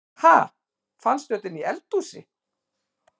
Ha! Fannstu þetta inni í eldhúsi?